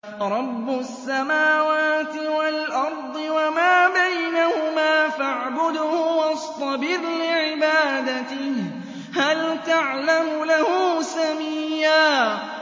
رَّبُّ السَّمَاوَاتِ وَالْأَرْضِ وَمَا بَيْنَهُمَا فَاعْبُدْهُ وَاصْطَبِرْ لِعِبَادَتِهِ ۚ هَلْ تَعْلَمُ لَهُ سَمِيًّا